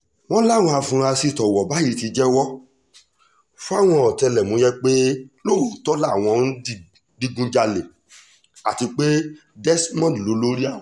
wọ́n láwọn afurasí tówó bá yìí ti jẹ́wọ́ fáwọn ọ̀tẹlẹ̀múyẹ́ pé lóòótọ́ làwọn ń di digunjalẹ̀ àti pé desmond lolórí àwọn